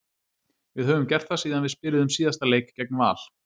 Við höfum gert það síðan við spiluðum síðasta leik gegn Val.